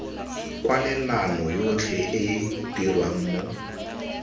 kwalelano yotlhe e dirwa mo